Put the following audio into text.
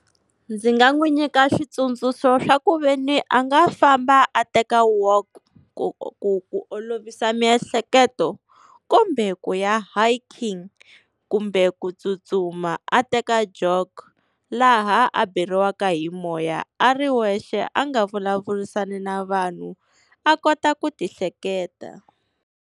Ndzi nga n'wi nyika switsundzuxo swa ku veni a nga famba a teka walk, ku ku ku olovisa miehleketo, kumbe ku ya hiking kumbe ku tsutsuma a teka jog, laha a beriwaka hi moya a ri wexe a nga vulavurisani na vanhu a kota ku ti hleketa.